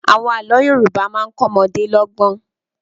Àwọn àlọ́ Yorùbá máa ń kọ ọmọdé lọ́gbọ́n.